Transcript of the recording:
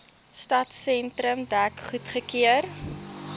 stadsentrum dek goedgekeur